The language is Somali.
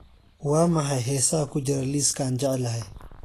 waa maxay heesaha ku jira liiska aan jeclahay